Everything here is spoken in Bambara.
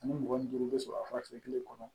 Ani mugan ni duuru bɛ sɔrɔ a fura kɛ kelen kɔnɔ